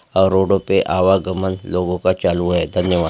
और रोड़ों पे आवागमन लोगो का चालू हैधन्यवाद।